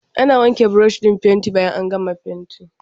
Ana wanke burushin fenti bayan an gama fentin.